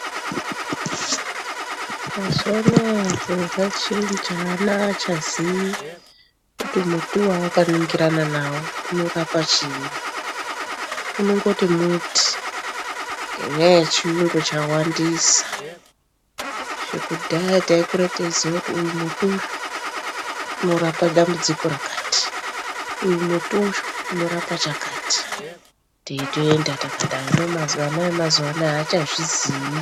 Mazuwa ano zviro zvachinja vana havachaziyi kuti muri wawakaningirana nawo unorapa chii unongoti muri ngenyaya yechiyungu chawandisa izvo kudhaya taikura teiziya kuti uyu muri unorapa dambudziko rakati uyu muri uyu unorapa zvakati teitoenda takadaro hino vana vemazuwa ano havachazviziyi.